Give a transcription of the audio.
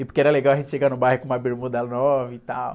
E porque era legal a gente chegar no bairro com uma bermuda nova e tal.